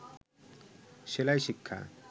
সেলাই শিক্ষা